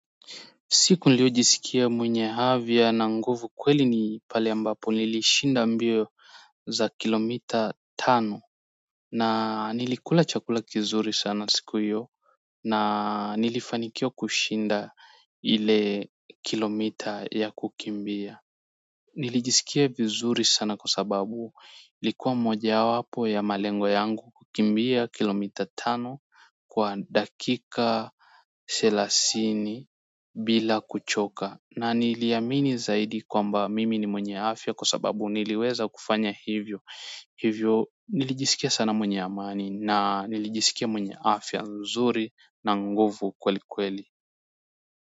Siku niliyojisikia mwenye havya na nguvu kweli ni pale ambapo nilishinda mbio za kilomita tano na nilikula chakula kizuri sana siku yo na nilifanikiwa kushinda ile kilomita ya kukimbia. Nilijisikia vizuri sana kwa sababu likuwa mojawapo ya malengo yangu kukimbia kilomita tano kwa dakika selasini bila kuchoka na niliamini zaidi kwamba mimi ni mwenye afya kwa sababu niliweza kufanya hivyo hivyo nilijisikia sana mwenye amani na nilijisikia mwenye afya nzuri na nguvu kweli kweli.